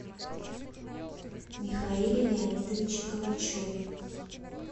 михаиле леонидовиче калачеве